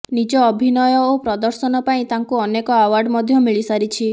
ନିଜ ଅଭିନୟ ଓ ପ୍ରଦର୍ଶନ ପାଇଁ ତାଙ୍କୁ ଅନେକ ଆୱାର୍ଡ ମଧ୍ୟ ମିଳିସାରିଛି